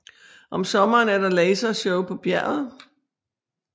Om sommeren er der lasershow på bjerget